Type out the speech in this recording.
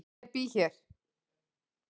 Ég bý hér.